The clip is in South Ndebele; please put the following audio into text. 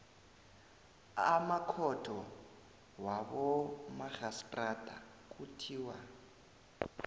amakhotho wabomarhistrada kuthiwa